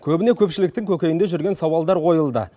көбіне көпшіліктің көкейінде жүрген сауалдар қойылды